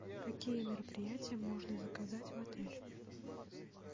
какие мероприятия можно заказать в отеле